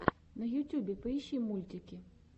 на ютюбе поищи мультики